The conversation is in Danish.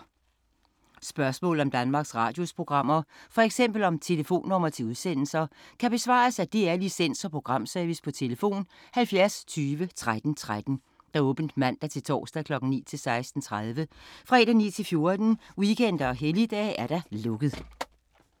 Spørgsmål om Danmarks Radios programmer, f.eks. om telefonnumre til udsendelser, kan besvares af DR Licens- og Programservice: tlf. 70 20 13 13, åbent mandag-torsdag 9.00-16.30, fredag 9.00-14.00, weekender og helligdage: lukket.